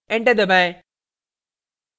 enter दबाएं